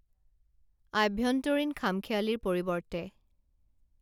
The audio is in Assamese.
আভ্যন্তৰীণ খাম খেয়ালিৰ পৰিৱৰ্তে